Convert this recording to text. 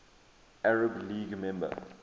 arab league member